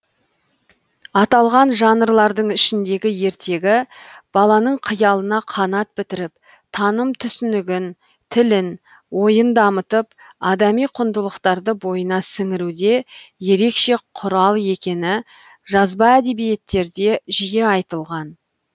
аталған жанрлардың ішіндегі ертегі баланың қиялына қанат бітіріп таным түсінігін тілін ойын дамытып адами құндылықтарды бойына сіңіруде ерекше құрал екені жазба әдебиеттерде жиі айтылған